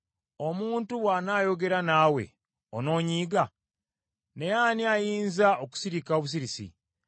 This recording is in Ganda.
“Omuntu bw’anaayogera naawe onoonyiiga? Naye ani ayinza okusirika obusirisi?